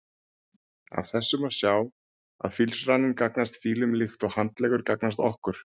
Af þessu má sjá að fílsraninn gagnast fílum líkt og handleggur gagnast okkur.